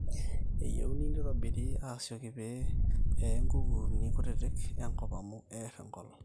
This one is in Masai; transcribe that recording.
eyieuni neitobirri aasioki pee eee nkukuuni kutitik enkop amu eer enkolong